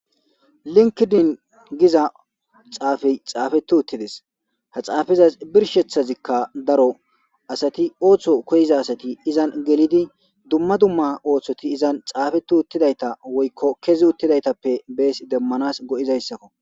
linkidin giza xaafey xaafeti uttides ha xaafizas birshethazikka daro asati ooththo koyiza asati izan gelidi dumma dumma ooththoti izan xaafetu uttidayta woykko kezi uttidaytappe bees demmanas go7izayssakko